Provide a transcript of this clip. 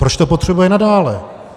Proč to potřebuje nadále?